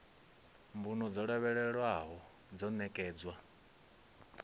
mbuno dzo lavhelelwaho yo ṋekedzwa